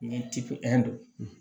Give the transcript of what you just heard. Ni tipɛri